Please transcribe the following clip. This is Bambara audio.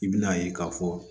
I bɛn'a ye k'a fɔ